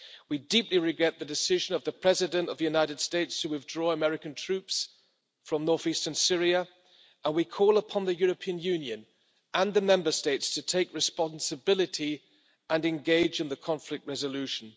We deeply regret the decision of the President of the United States to withdraw American troops from north eastern Syria and we call upon the European Union and the Member States to take responsibility and engage in the conflict resolution.